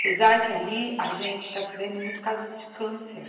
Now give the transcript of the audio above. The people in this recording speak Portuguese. Apesar que ali a gente está se vendo muito casos de câncer.